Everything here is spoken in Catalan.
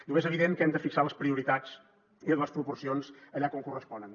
diu és evident que hem de fixar les prioritats i les proporcions allà on corresponen